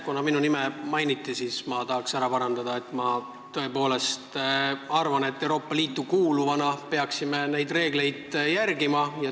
Kuna minu nime mainiti, siis ma tahan märkida, et ma tõepoolest arvan, et Euroopa Liitu kuuluvana peaksime liidu reegleid järgima.